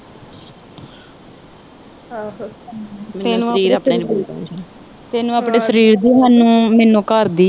ਆਹੋ। ਤੈਨੂੰ ਆਪਣੇ ਸਰੀਰ ਦੀ। ਮੈਨੂੰ ਆਪਣੇ ਘਰ ਦੀ।